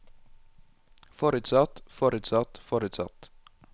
forutsatt forutsatt forutsatt